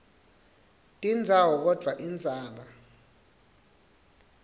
tindzawo kodvwa indzaba